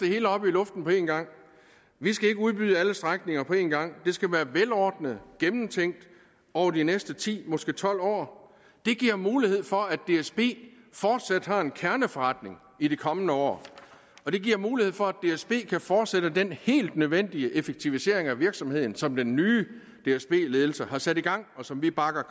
hele op i luften på en gang vi skal ikke udbyde alle strækninger på en gang det skal være velordnet gennemtænkt over de næste ti måske tolv år det giver mulighed for at dsb fortsat har en kerneforretning i de kommende år og det giver mulighed for at dsb kan fortsætte den helt nødvendige effektivisering af virksomheden som den nye dsb ledelse har sat i gang og som vi bakker